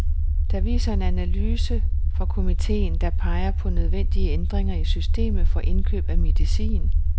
Det viser en analyse fra komiteen, der peger på nødvendige ændringer i systemet for indkøb af medicin.